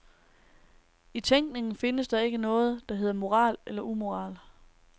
I tænkningen findes der ikke noget, der hedder moral eller umoral.